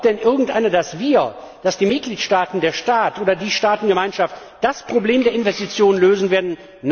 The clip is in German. Glaubt denn irgendjemand, dass wir, die Mitgliedstaaten, der Staat oder die Staatengemeinschaft das Problem der Investitionen lösen werden?